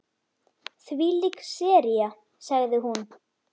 Þvílík sería sagði hún.